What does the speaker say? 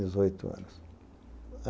Dezoito anos.